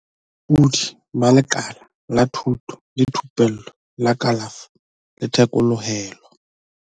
Bolaodi ba Lekala la Thuto le Thupello la Kalafo le Thekolohelo.